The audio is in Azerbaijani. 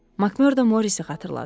Makmörda Morrisi xatırladı.